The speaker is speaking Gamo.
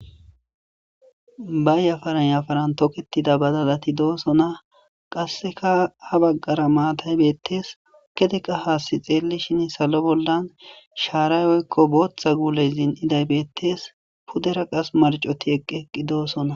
Bayafarayafaran toketida badalati doosona qasseka ha baggara maataybeettees kedeqa haassi xeeli shin salo boldan shaarayoykko booththa guulezin idaybeettees pudera qas marcoti eqqeqqi doosona.